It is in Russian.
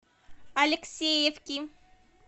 алексеевки